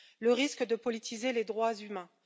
le risque de politiser les droits humains